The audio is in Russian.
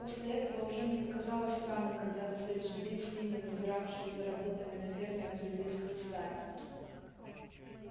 после этого уже не показалось странным когда на следующий день свиньи надзиравшие за работами на ферме обзавелись хлыстами